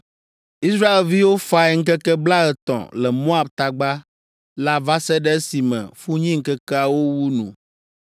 Israelviwo fae ŋkeke blaetɔ̃ le Moab tagba la va se ɖe esime funyiŋkekeawo wu nu.